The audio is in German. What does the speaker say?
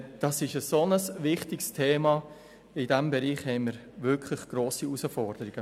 Es ist ein sehr wichtiges Thema, und in diesem Bereich stehen wir wirklich vor grossen Herausforderungen.